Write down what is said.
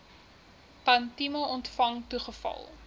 tantième ontvang toegeval